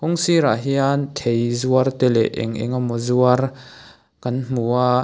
kawng sir ah hian thei zuar te leh eng engemaw zuar kan hmu a.